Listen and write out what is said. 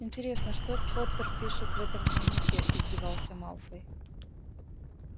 интересно что поттер пишет в этом дневнике издевался малфой